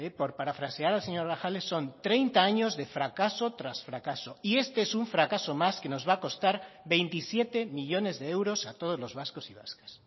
por parafrasear al señor grajales son treinta años de fracaso tras fracaso y este es un fracaso más que nos va a costar veintisiete millónes de euros a todos los vascos y vascas